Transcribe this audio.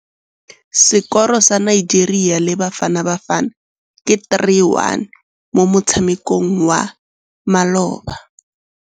Sekôrô sa Nigeria le Bafanabafana ke 3-1 mo motshamekong wa malôba.